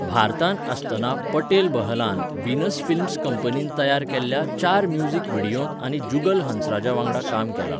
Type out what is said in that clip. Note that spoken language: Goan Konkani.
भारतांत आसतना पटेल बहलान व्हीनस फिल्म्स कंपनीन तयार केल्ल्या चार म्युझिक व्हिडियोंत आनी जुगल हंसराजा वांगडा काम केलां.